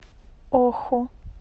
оху